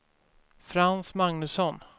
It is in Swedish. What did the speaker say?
Frans Magnusson